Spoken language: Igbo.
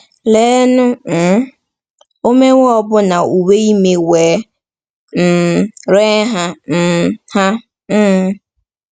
Leenụ um, “ o mewo ọbụna uwe ime wee um ree ha um ha um ”!